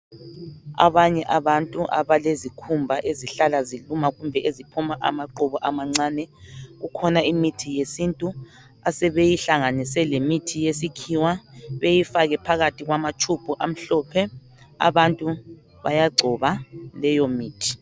Abanye abantu abalezikhumba ezihlala ziluma kumbe eziphuma amaqhubu amancane, kukhona imithi yesintu asebeyihlanganise lemithi yesikhiwa bayifake phakathi kwamatshubhu amhlophe abantu bayagcoba leyomithi.